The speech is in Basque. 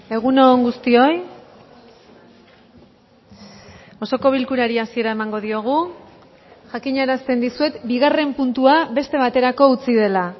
egun on guztioi osoko bilkurari hasiera emango diogu jakinarazten dizuet bigarren puntua beste baterako utzi dela